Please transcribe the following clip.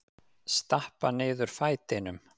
Stappa niður fætinum.